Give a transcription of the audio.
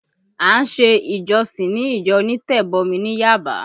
A ṣe ìjọsìn ni ìjọ onítẹ̀bọmi ní Yaba